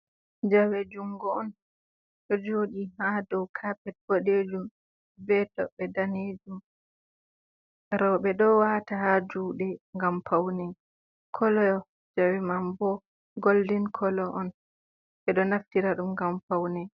Jawe jungo on ɗo joɗi ha dow kapet bodejum, be toɓɓe danejum, roɓe ɗo wata ha juɗe ngam paune, kolo jawe man bo goldin kolo on, ɓe ɗo naftira ɗum ngam paune.